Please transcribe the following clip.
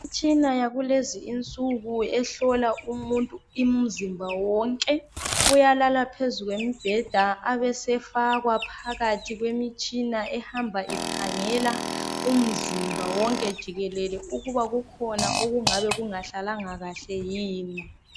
Imitshina yakulezinsuku ehlola umuntu umzimba wonke uyalala phezu kwembheda abesefakwa phakathi kwemitshina Ehamba ikhangela umzimba wonke jikelele ukuba kukhona okungabe kungahlalangakahle yini